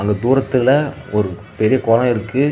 இங்க தூரத்தில ஒரு பெரிய கொலோ இருக்கு.